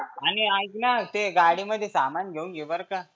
आणि ऐक ना ते गाडी मध्ये सामान घेऊन घे बरं का?